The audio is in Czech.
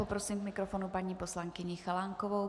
Prosím k mikrofonu paní poslankyni Chalánkovou.